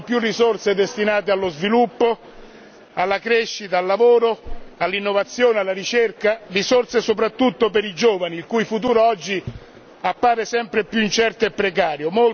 Servono più risorse destinate allo sviluppo, alla crescita, all'occupazione, all'innovazione, alla ricerca risorse soprattutto per i giovani, il cui futuro oggi appare sempre più incerto e precario.